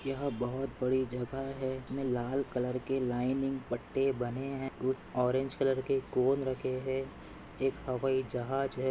यहा बहुत बड़ी जगह है लाल कलर के लाइनिंग पट्टे बने है। कुछ ऑरेंज कलर के कोण रखे है एक हवाई जहाज है।